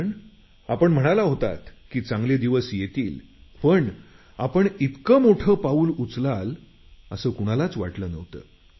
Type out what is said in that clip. कारण आपण म्हणाला होतात की चांगले दिवस येतील पण आपण इतकं मोठं पाऊल उचलाल असं कुणालाच वाटलं नव्हतं